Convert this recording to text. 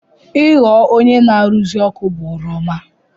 Ị ghọ onye na-arụzi ọkụ bụ ọrụ ọma.